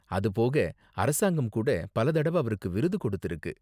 அது போக அரசாங்கம் கூட பல தடவ அவருக்கு விருது கொடுத்திருக்கு.